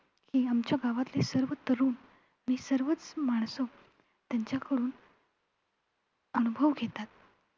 की आमच्या गावातील सर्व तरुण आणि सर्वचं माणसं त्यांच्याकडून अनुभव घेतात.